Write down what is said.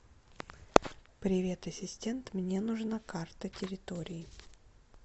привет ассистент мне нужна карта территории